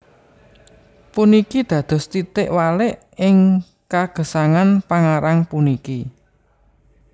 Puniki dados titik walik ing kagesangan pangarang puniki